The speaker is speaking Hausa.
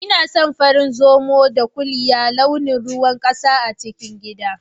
Inason farin Zomo da ƙuliya launin ruwan ƙasa a cikin gida.